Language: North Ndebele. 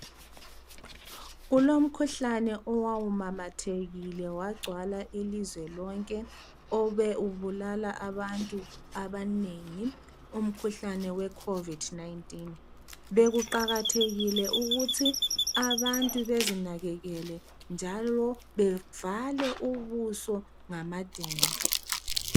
Kulomkhuhlane owawumamathekile wagcwala ilizwe lonke obe ubulala abantu abanengi umkhuhlane we COVID 19 bekuqakathekile ukuthi abantu bezinakekele njalo bevale ubuso ngamadende